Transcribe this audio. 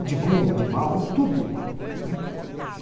O de bom, o de mal, o, tudo, né?